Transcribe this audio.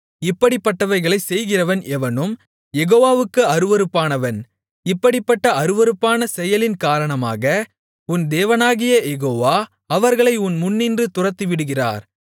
இப்படிப்பட்டவைகளைச் செய்கிறவன் எவனும் யெகோவாவுக்கு அருவருப்பானவன் இப்படிப்பட்ட அருவருப்பான செயலின் காரணமாக உன் தேவனாகிய யெகோவா அவர்களை உன் முன்னின்று துரத்திவிடுகிறார்